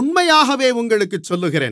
உண்மையாகவே உங்களுக்குச் சொல்லுகிறேன்